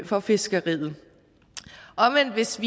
for fiskeriet omvendt hvis